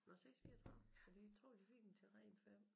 Nåh 6 34 ja de tror de fik dem til ren 5